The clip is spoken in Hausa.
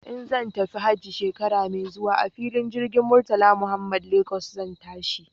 In zan tafi hajji shekara mai zuwa a filin jirgin Murtala Muhammad Lagos zan tashi.